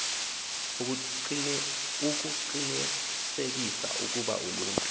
ukuqinisekisa ukuba uluntu